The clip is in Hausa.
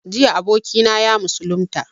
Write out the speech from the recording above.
Jiya abokina ya musulunta